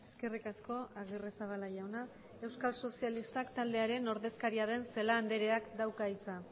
eskerrik asko agirrezabala jauna euskal sozialistak taldearen ordezkaria den celaá andreak dauka hitza